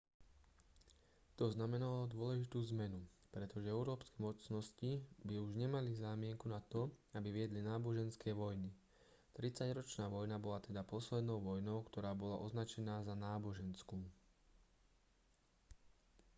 to znamenalo dôležitú zmenu pretože európske mocnosti by už nemali zámienku na to aby viedli náboženské vojny tridsaťročná vojna bola teda poslednou vojnou ktorá bola označená za náboženskú